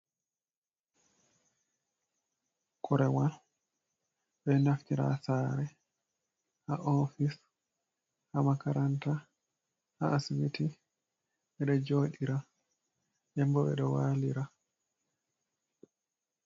Korewal ɓeɗo naftira ha sare ha ofis ha makaranta ha asibiti ɓeɗo joɗira nde bo ɓeɗo walira.